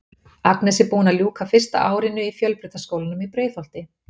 Agnes er búin að ljúka fyrsta árinu í Fjölbrautaskólanum í Breiðholti.